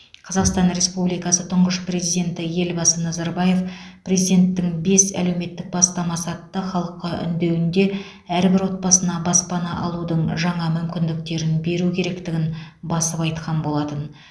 қазақстан республикасы тұңғыш президенті елбасы назарбаев президенттің бес әлеуметтік бастамасы атты халыққа үндеуінде әрбір отбасына баспана алудың жаңа мүмкіндіктерін беру керектігін басып айтқан болатын